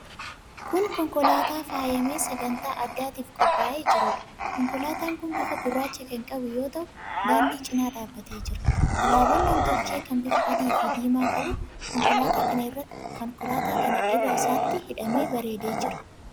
Kun konkolaataa faayamee sagantaa addaatiif qophaa'ee jiruudha. Konkolaataan kun bifa gurraacha kan qabu yoo ta'u, daandii cina dhaabbatee jira. Abaaboon nam-tolchee kan bifa adiifi diimaa qabu konkolaataa kana irra isaatti hidhamee bareedee jira.